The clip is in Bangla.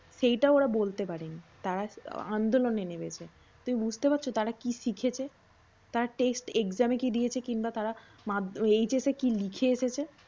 সেইতাও ওরা বলতে পারেনি তারা আন্দোলনে নেমেছে। তুমি বুঝতে পারছ তারা কী শিখেছে? তারা test exam এ কি দিয়েছে? কিনবা তারা মাধ্যমিক HS এ কী লিখে এসেছে?